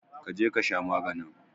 Kaje kasha maganin.